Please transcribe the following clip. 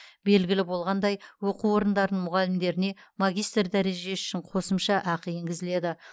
белгілі болғандай оқу орындарының мұғалімдеріне магистр дәрежесі үшін қосымша ақы енгізіледі